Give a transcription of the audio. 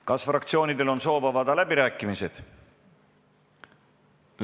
Kas fraktsioonidel on soov avada läbirääkimisi?